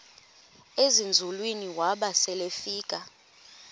ezinzulwini waba selefika